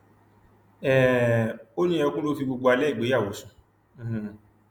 um ó ní ẹkún ló fi gbogbo alẹ ìgbéyàwó sùn um